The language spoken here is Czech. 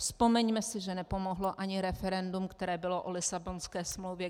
Vzpomeňme si, že nepomohlo ani referendum, které bylo o Lisabonské smlouvě.